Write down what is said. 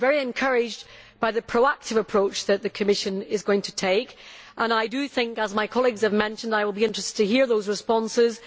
I am very encouraged by the proactive approach that the Commission is going to take and I will, as my colleagues have mentioned, be interested in hearing those responses.